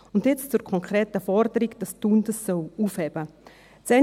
Und jetzt zur konkreten Forderung, dass Thun dies aufheben soll.